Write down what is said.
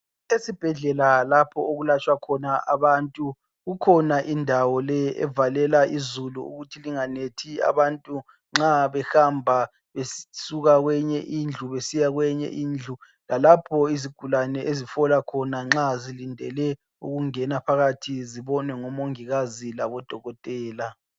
Esibhedlela lapho okulatshwa khona abantu kukhona indawo le evalela izulu ukuthi linganethi abantu nxa behamba besuka kweyinye indlu besiya kwenye indlu lalapho izigulane ezifola khona nxa zilindele ukungena phakathi zibone omongikazi labodokotela.